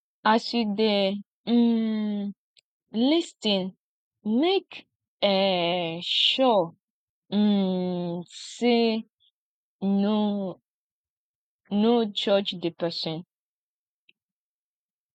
as you de um lis ten make um sure um say no no judge di persin